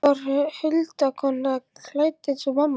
Þetta var þá huldukona, klædd eins og mamma.